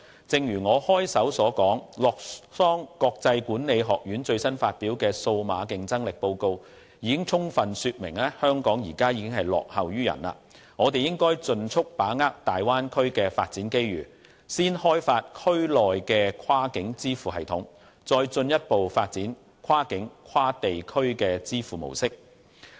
正如我開首所說，洛桑國際管理發展學院最新發表的《2018年數碼競爭力排名報告》已經充分說明，香港現時落後於人，我們應該盡速把握大灣區的發展機遇，先開發區內的跨境支付系統，再進一步發展跨境跨地區的支付模式。